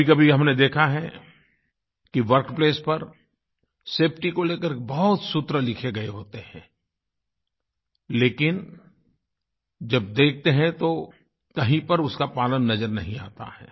कभीकभी हमने देखा है कि वर्क प्लेस पर सेफटी को लेकर बहुत सूत्र लिखे गए होते हैं लेकिन जब देखते हैं तो कहीं पर उसका पालन नज़र नहीं आता है